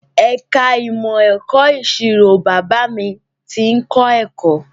Ẹ̀ka ìmọ̀ ẹ̀kọ́ ìṣirò Bàbá mi tí ń kọ́ akẹ́kọ̀ọ́